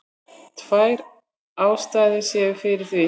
Tvær ástæður séu fyrir því